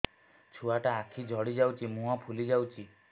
ଛୁଆଟା ଆଖି ଜଡ଼ି ଯାଉଛି ମୁହଁ ଫୁଲି ଯାଉଛି